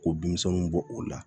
Ko denmisɛnninw bɔ o la